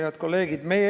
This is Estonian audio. Head kolleegid!